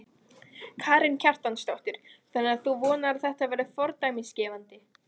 Karen Kjartansdóttir: Þannig að þú vonar að þetta verði fordæmisgefandi?